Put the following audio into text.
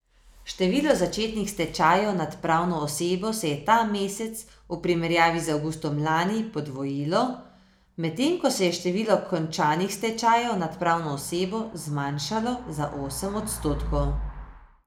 Število začetih stečajev nad pravno osebo se je ta mesec v primerjavi z avgustom lani podvojilo, medtem ko se je število končanih stečajev nad pravno osebo zmanjšalo za osem odstotkov.